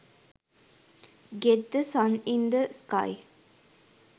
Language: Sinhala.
get the sun in the sky